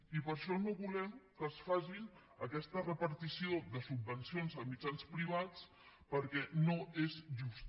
i per això no volem que es faci aquesta repartició de subvencions a mitjans privats perquè no és justa